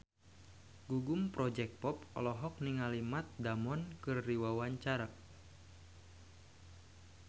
Gugum Project Pop olohok ningali Matt Damon keur diwawancara